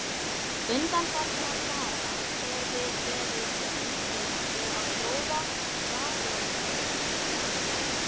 Undanfarna daga hefir verið unnið við að prófa raflagnir.